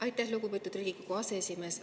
Aitäh, lugupeetud Riigikogu aseesimees!